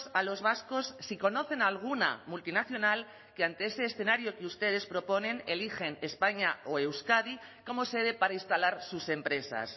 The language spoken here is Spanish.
a los vascos si conocen alguna multinacional que ante ese escenario que ustedes proponen eligen españa o euskadi como sede para instalar sus empresas